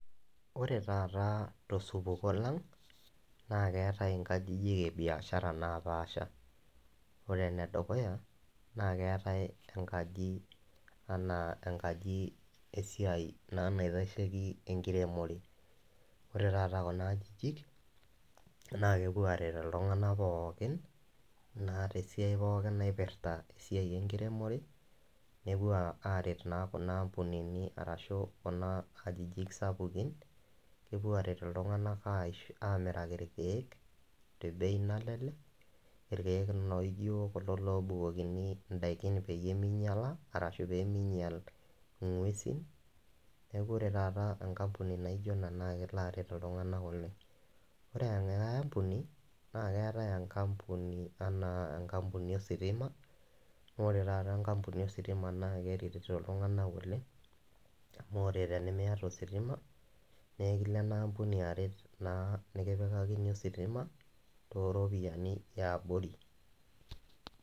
Ore taata tosupuko lang', naa keatai inkajijik e biashara napaasha, ene dukuya naa keatai enkaji anaa enkaji esiai naa naitasheiki enkiremore, ore taata Kuna ajijik naa kepuo aret iltung'ana pookin naa tesiai pooki naipirita esiai enkiremore, nepuo naa aret Kuna ampunini arashu Kuna ajijik sapukin, kepuo aret iltung'ana aret aamiraki ilkeek , te bei naijo kulo oobukokini indaiki peyie meiyala ashu pemeinyal ing'uesin. Neaku ore taata enkampuni naijo ena naa kelo aret iltung'ana oleng'. Ore enkai ampuni, naa keatai enkampuni anaa enkampuni o sitima, amu ore taata enkampuni o sitima naa keretito iltung'ana oleng', amu ore tenimiata ositima, nekilo ena ampuni aret naa nekipikakini ositima, too iropiani e abori.